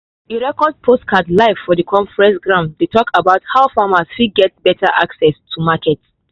e record podcast live for the conference ground dey talk about how farmers fit get better access to market.